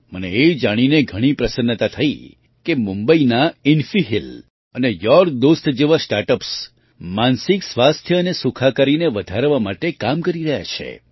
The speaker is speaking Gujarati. મને એ જાણીને ઘણી પ્રસન્નતા થઈ કે મુંબઈનાં ઇન્ફી હીલ અને યોર્ડોસ્ટ જેવાં સ્ટાર્ટ અપ્સ માનસિક સ્વાસ્થ્ય અને સુખાકારીને સુધારવા માટે કામ કરી રહ્યાં છે